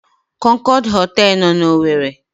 Kọnkọd họtelụ nọ n'Owere.